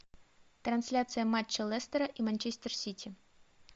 трансляция матча лестера и манчестер сити